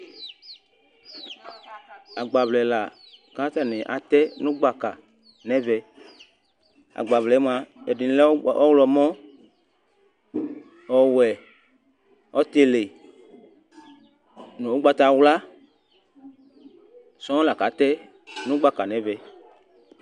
agbaʋlɛla ƙʊ atanɩ atɛ nu gɓaƙa nɛʋɛ agbaʋlɛmʊa ɛɗɩnɩlɛ mʊtɩ sɔƙɔ, ɔwʊɛ, ɔtɩlɩ nʊ ʊgɓatawla laƙʊ atɛ nʊ gɓaƙa nʊ ɛmɛ